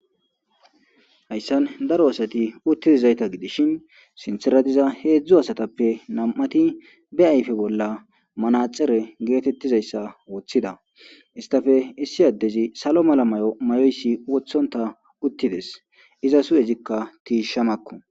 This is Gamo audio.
Hayssan daro asati utti dizayta gidishin sintera diza heedzdzu asatappe nam"ati be ayfe bolla manaxere geetettizayssa woththida istafe issi addezi salo mala may'oyssi wothontta uttides. izas hu7ezikka tiishamakko.